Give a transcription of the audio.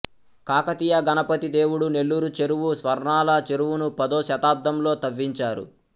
కాకతీయ గణపతి దేవుడు నెల్లూరు చెరువు స్వర్ణాల చెరువును పదో శతాబ్దంలో తవ్వించారు